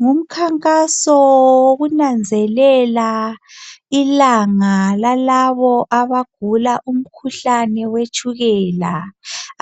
Ngumkhankaso wokunanzelela ilanga lalabo abagula umkhuhlane we tshukela.